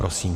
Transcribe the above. Prosím.